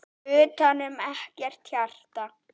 Utanum ekkert hjarta.